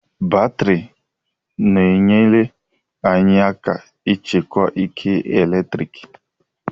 Batrị na-enyere anyị aka ịchekwa ike eletrik